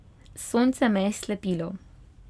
Sonce me je slepilo.